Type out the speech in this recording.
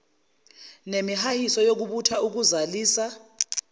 nemihahiso yokubutha ukuzalisa